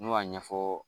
N'u y'a ɲɛfɔ